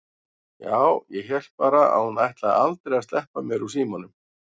Já, ég hélt bara að hún ætlaði aldrei að sleppa mér úr símanum!